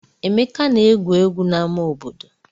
Emeka na-egwu egwu n'ama obodo.